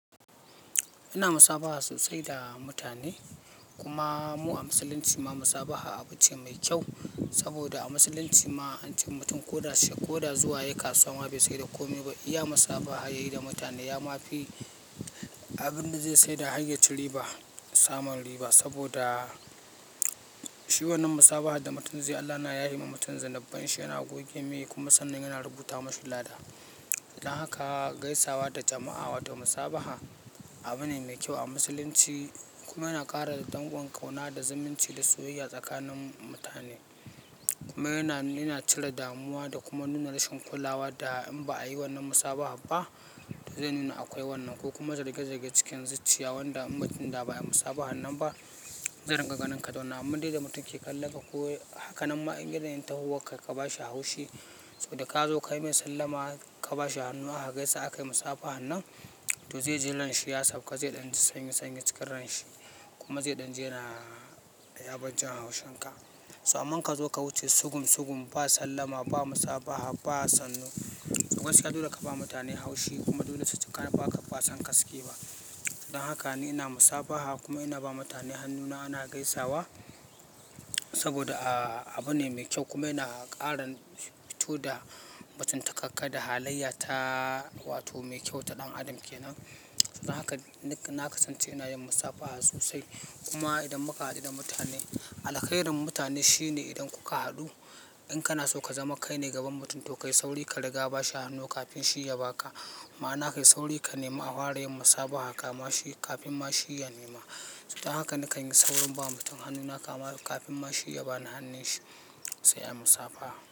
Ina musabaha sosai da mutane kuma mu a Musulunci ma musabaha abu ce mai kyau. Saboda a Musulunci ma an ce mutum ko da shi ko da zuwa ya yi kasuwa ba sai da komai ba iya musafaha yayi da mutane ya ma fi abin da zai saida hanyar ci riba, samun riba. Saboda shi wannan musabaha da mutum zai yi Allah na yahe ma mutum zinabbai. Shi yana goge miya kuma sannu yana rubuta mashi lada. Dan haka gaisawa da jama'a wato musabaha abu ne mai kyau a Musulunci kuma yana ƙara dangon ƙauna da zumunci da soyayya tsakanin mutane. Kuma yana, yana cire damuwa da kuma nuna rashin kulawa da in ba a yi wannan musabaha ba. To zan yi na akwai wannan ko kuma zarge-zarge cikin zuciya wanda in mutum da ba ya musabaha nan ba zai rinƙa ganin ka da wani abu dai da mutum ke kallan ka ko haka nan ma in yanayin tahowar k a bashi haushi. Saboda ka zo kai mai sallama ka ba shi hannu aka gaisa aka yi musafaha nan, to zai ji ran shi ya sauka zai ɗan ji sanyi sanyi cikin ranshi kuma zai ɗan ji yana yabar jin haushin ka. To amma ka zo ka wuce sugum sugum ba sallama ba musabaha ba sannu, a gaskiya dole ka ba mutane haushi kuma dole su ji ba sa ba son ka suke ba. Dan haka ni ina musafaha kuma ina ba mutane hannuna, ana gaisawa saboda ah abu ne mai kyau kuma yana ƙara fito da mutum ta kakka da halayyata wato mai kyau wata ɗan adam kenan. Dan haka na kasance ina yin musafaha sosai. Kuma idan muka haɗu da mutane, alkairin da mutane shine idan kuka haɗu in kana so ka zama kai ne gaban mutum to kai sauri ka riga ba shi hannu kafin shi ya ba ka. Ma'ana kai sauri ka nema a fara yin musafaha ka ma shi kafin ma shi ya nema. Dan haka ni kan yi saurin ba mutum hannuna ka ma kafin ma shi ya bani hannun shi sai ai musafaha.